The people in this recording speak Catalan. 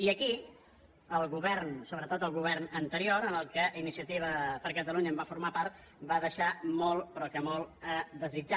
i aquí el govern sobretot el govern an·terior de què iniciativa per catalunya va formar part va deixar molt però que molt a desitjar